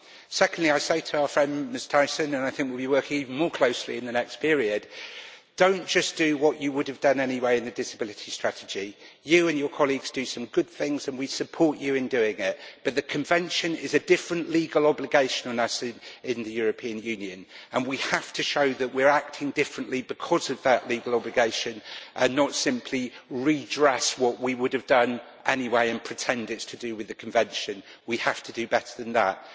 Secondly, I say to our friend Ms Thyssen and I think we will be working even more closely in the next period do not just do what you would have done anyway in the Disability Strategy. You and your colleagues do some good things and we support you in doing it, but the Convention is a different legal obligation for us in the European Union and we have to show that we are acting differently because of that legal obligation, and not simply redress what we would have done anyway, and pretend it is to do with the Convention. We have to do better than that.